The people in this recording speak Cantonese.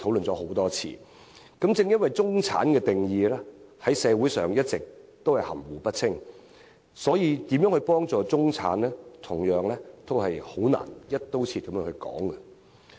正因社會對中產的定義一直含糊不清，所以在如何幫助中產的議題上，同樣難以"一刀切"地討論。